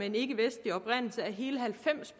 en ikke vestlig oprindelse er hele halvfems